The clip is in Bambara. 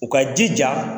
U ka jija